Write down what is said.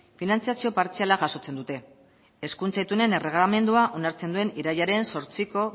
finantzazio partziala jasotzen dute hezkuntza itunen erregelamendua onartzen duen irailaren zortziko